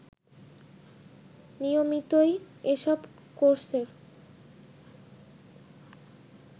নিয়মিতই এসব কোর্সের